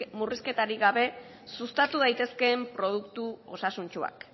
murrizketarik gabe sustatu daitezkeen produktu osasuntsuak